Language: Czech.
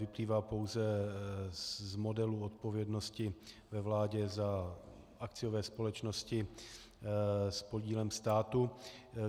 Vyplývá pouze z modelu odpovědnosti ve vládě za akciové společnosti s podílem státu.